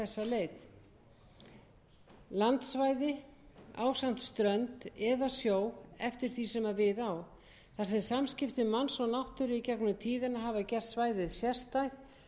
þessa leið landsvæði ásamt strönd eða sjó eftir því sem við á þar sem samskipti manns og náttúru í gegnum tíðina hafa gert svæðið sérstætt